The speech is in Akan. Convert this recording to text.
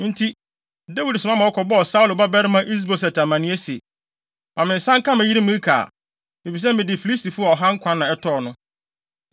Enti, Dawid soma ma wɔkɔbɔɔ Saulo babarima Is-Boset amanneɛ se, “Ma me nsa nka me yere Mikal, efisɛ mede Filistifo ɔha nkwa na ɛtɔɔ no.”